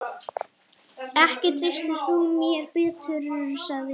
Ekki treystir þú mér betur, sagði ég.